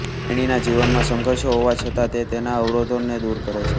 તેણી નાં જીવનમાં સંઘર્ષો હોવા છતાં તે તેના અવરોધો ને દૂર કરે છે